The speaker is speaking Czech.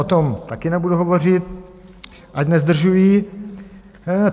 O tom taky nebudu hovořit, ať nezdržuji.